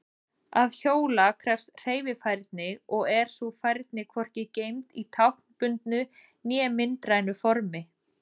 Að hjóla krefst hreyfifærni og er sú færni hvorki geymd í táknbundnu né myndrænu formi.